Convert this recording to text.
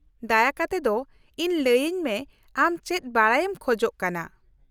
-ᱫᱟᱭᱟ ᱠᱟᱛᱮᱫ ᱤᱧ ᱞᱟᱹᱭᱟᱹᱧ ᱢᱮ ᱟᱢ ᱪᱮᱫ ᱵᱟᱰᱟᱭᱮᱢ ᱠᱷᱚᱡ ᱠᱟᱱᱟ ᱾